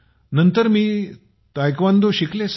नंतर मी तायक्वांदो शिकले